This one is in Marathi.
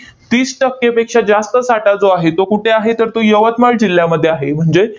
तीस टक्केपेक्षा जास्त साठा जो आहे तो कुठे आहे? तर तो यवतमाळ जिल्ह्यामध्ये आहे. म्हणजेच